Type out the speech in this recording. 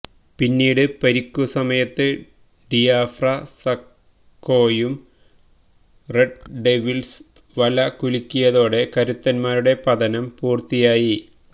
പിന്നീട് പരിക്കുസമയത്ത് ഡിയാഫ്ര സാകോയും റെഡ് ഡെവിള്സ് വല കുലുക്കിയതോടെ കരുത്തന്മാരുടെ പതനം പൂര്ത്തിയായി